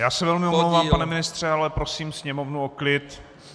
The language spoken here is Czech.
Já se velmi omlouvám, pane ministře, ale prosím sněmovnu o klid.